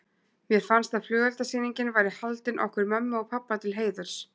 Mér fannst að flugeldasýningin væri haldin okkur mömmu og pabba til heiðurs.